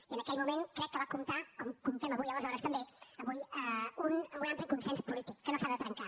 i en aquell moment crec que va comptar com comptem avui aleshores també amb un ampli consens polític que no s’ha de trencar